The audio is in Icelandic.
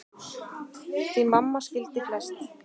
Því mamma skildi flest.